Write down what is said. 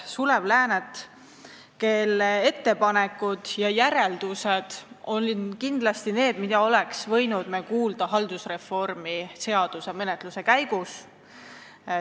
Sulev Lääne ettepanekud ja järeldused olid kindlasti need, mida me oleks võinud kuulda haldusreformi seaduse menetluse käigus.